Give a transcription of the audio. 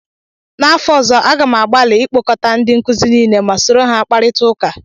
n'afọ ọzọ, Aga m agbalị ịkpọkọta ndị nkuzi niile ma soro ha kparịta ụka